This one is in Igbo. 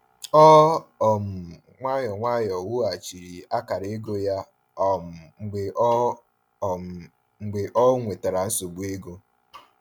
Ọ um nwayọọ nwayọọ wughachiri akara ego ya um mgbe ọ um mgbe ọ nwetara nsogbu ego.